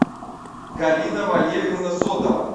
галина валерьевна сотова